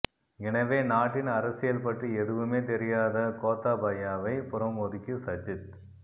எனவே நாட்டின் அரசியல்பற்றி எதுவுமே தெரியாத கோத்தாபாயவை புறம் ஒதுக்கி சஜித்